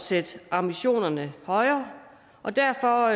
sætte ambitionerne højere og derfor